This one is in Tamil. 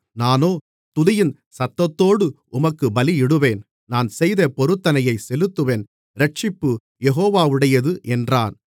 நானோ துதியின் சத்தத்தோடு உமக்குப் பலியிடுவேன் நான் செய்த பொருத்தனையைச் செலுத்துவேன் இரட்சிப்பு யெகோவாவுடையது என்றான்